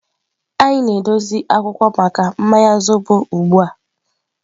Anyị na-edozi akwụkwọ maka mmanya zobo ugbu a.